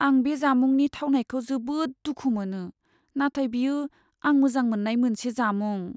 आं बे जामुंनि थावनायखौ जोबोद दुखु मोनो, नाथाय बेयो आं मोजां मोननाय मोनसे जामुं।